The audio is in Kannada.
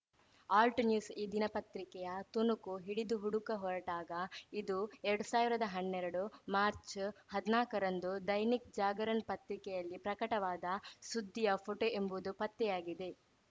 ಆಲ್ಟ್‌ನ್ಯೂಸ್‌ ಈ ದಿನಪತ್ರಿಕೆಯ ತುಣುಕು ಹಿಡಿದು ಹುಡುಕ ಹೊರಟಾಗ ಇದು ಎರಡ್ ಸಾವ್ರ್ದಾ ಹನ್ನೆರಡು ಮಾರ್ಚ್ ಹದ್ನಾಕರಂದು ದೈನಿಕ್‌ ಜಾಗರಣ್‌ ಪತ್ರಿಕೆಯಲ್ಲಿ ಪ್ರಕಟವಾದ ಸುದ್ದಿಯ ಫೋಟೋ ಎಂಬುದು ಪತ್ತೆಯಾಗಿದೆ